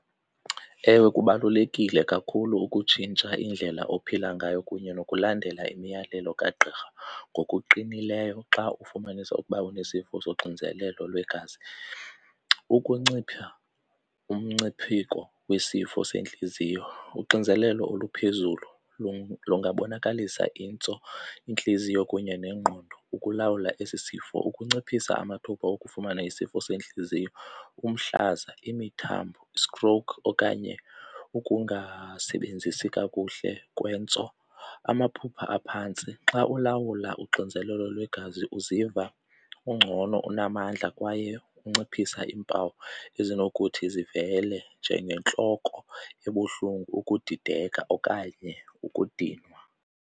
Ewe, kubalulekile kakhulu ukutshintsha indlela ophila ngayo kunye nokulandela imiyalelo kagqirha ngokuqinileyo xa ufumanisa ukuba unesifo soxinzelelo lwegazi. Ukuncipha umngcipheko wesifo sentliziyo, uxinzelelo oluphezulu lungabonakalisa intso, intliziyo kunye nengqondo. Ukulawula esi sifo, ukunciphisa amathuba okufumana isifo sentliziyo, umhlaza imithambo, stroke okanye ukungasebenzisi kakuhle kwentso. Amaphupha aphantsi, xa ulawula uxinzelelo lwegazi uziva ungcono, unamandla kwaye unciphisa iimpawu ezinokuthi zivele njengentloko ebuhlungu, ukudideka okanye ukudinwa.